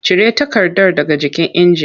Cire takardar daga jikin injin!